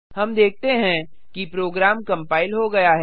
हम देखते हैं कि प्रोग्राम कंपाइल हो गया है